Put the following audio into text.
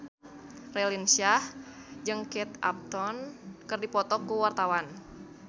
Raline Shah jeung Kate Upton keur dipoto ku wartawan